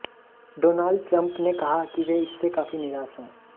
Donald Trump ने कहा है कि इससे वे काफी निराश हैं